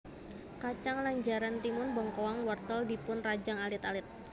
Kacang lanjaran timun bengkoang wortel dipun rajang alit alit